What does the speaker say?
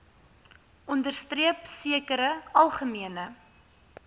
onderstreep sekere algemene